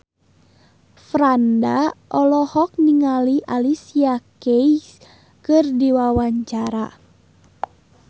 Franda olohok ningali Alicia Keys keur diwawancara